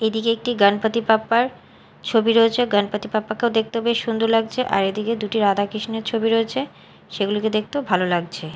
এদিকে একটি গণপতি বাপ্পার ছবি রয়েছে গণপতি বাপ্পাকেও দেখতে হবে সুন্দর লাগছে আর এদিকে দুটি রাধা কৃষ্ণের ছবি রয়েছে সেগুলোকে দেখতেও ভালো লাগছে।